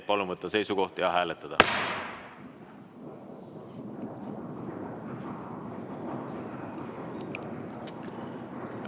Palun võtta seisukoht ja hääletada!